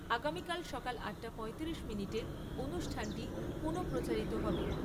আগামীকাল সকাল আট টা পয়তিরিশ মিনিটে অনুষ্ঠানটি পুনঃপ্রচারিত হবে।